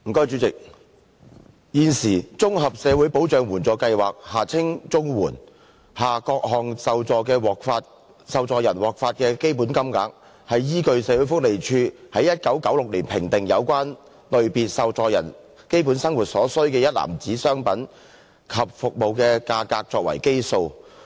主席，現時，綜合社會保障援助計劃下各類受助人獲發的標準金額，是依據社會福利署於1996年評定有關類別受助人基本生活所需的一籃子商品及服務的價格作為基數。